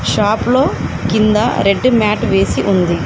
Shop లో కింద red mat వేసి ఉంది.